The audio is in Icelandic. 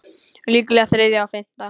Líklega þriðja og fimmta